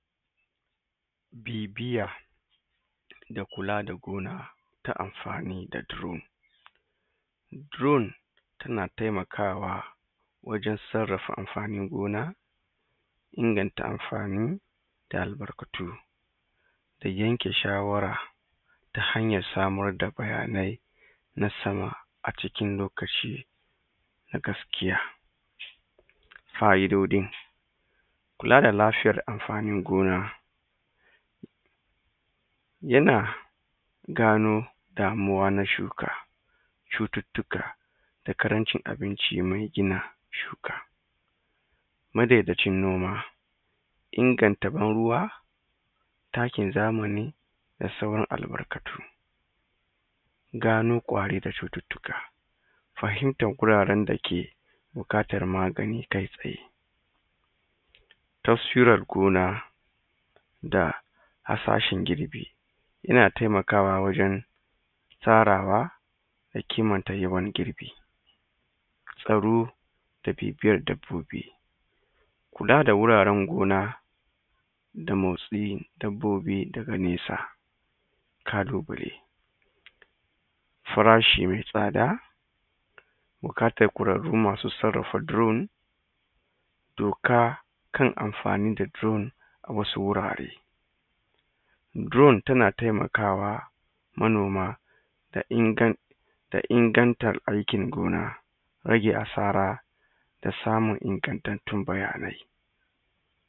bibiyar da kula da gona ta amfani da drone drone tana taimakawa wajen sarrafa amfanin gona inganta amfanin da albarkatu da yanke shawara ta hanyar samar da bayanai na sama a cikin lokaci na gaskiya fa'idodin kula da lafiyar amfanin gona yana damuwa na shuka cututtuka da ƙarancin abinci mai gina shuka madaidai cin noma inganta ban ruwa takin zamani da sauran albarkatu gano ƙwari da cututtuka fahimtar guraren dake buƙatar magani kai tsaye taswirar gona da hasashen girbi yana taimakawa wajen farawa da ƙimanta yawan girbi tsaro da bibiyar dabbobi kula da wuraren gona da motsin dabbobi daga nesa kalubale farashi mai tsada buƙatar ƙwararru masu sarrafa drone doka kan amfani da drone a wasu wurare drone tana taimakawa manoma da inganci da ingantar aikin gona rage asara da samun ingantattun bayanai